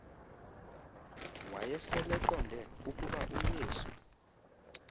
wayeseleqonde ukuba uyesu